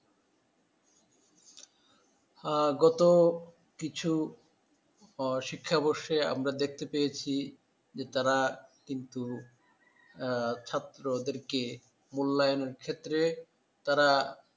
আহ গত কিছু ও শিক্ষাবর্ষে আমরা দেখতে পেয়েছি যে তাঁরা কিন্তু, আহ ছাত্রদেরকে মূল্যায়নের ক্ষেত্রে তারা